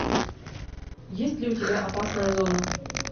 есть ли у тебя опасная зона